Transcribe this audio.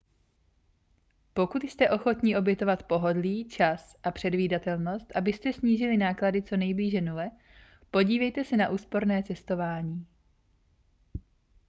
pokud jste ochotni obětovat pohodlí čas a předvídatelnost abyste snížili náklady co nejblíže nule podívejte se na úsporné cestování